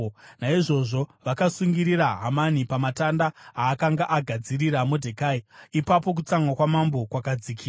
Naizvozvo vakasungirira Hamani pamatanda aakanga agadzirira Modhekai. Ipapo kutsamwa kwamambo kwakadzikira.